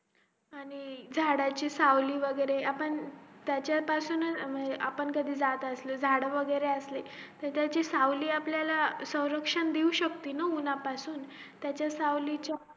आणि झाडाची सावली वैगेरे आपण त्यांच्यापासूनच आपण कधी जात असलो झाड वैगेरे असले त्यांची सावली सौरक्षण देऊ शकते ना उन्हं पासून त्याच्या सावलीचा